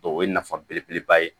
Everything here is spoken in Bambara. O ye nafa belebeleba ye